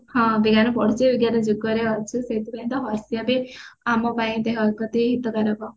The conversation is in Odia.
ହଁ ବିଜ୍ଞାନ ପଢୁଛେ ବିଜ୍ଞାନ ଯୁଗରେ ଅଛେ ସେଇଥି ପିଅନ ତ ହସିବା ବି ଆମ ପାଇଁ ଦେହ ପ୍ରତି ହିତକାରକ